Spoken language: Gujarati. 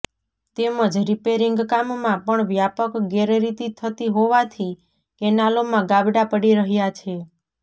તેમજ રિપેરિંગ કામમાં પણ વ્યાપક ગેરરીતિ થતી હોવાથી કેનાલોમાં ગાબડા પડી રહ્યાં છે